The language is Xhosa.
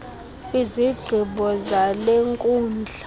izigqibo zale nkundla